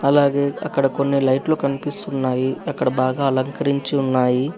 అలాగే అక్కడ కొన్ని లైట్లు కనిపిస్తున్నాయి అక్కడ బాగా అలంకరించి ఉన్నాయి.